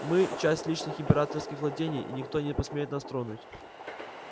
мы часть личных императорских владений и никто не посмеет нас тронуть